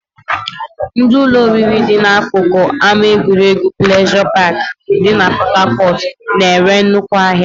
Ndị ụlọ oriri dị n'akụkụ ama egwuregwu pleasure park dị na port Harcourt na-ere nnukwu ahịa